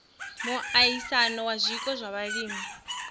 miaisano ya zwiko zwa vhulimi